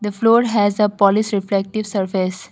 the floor has a polish reflective surface.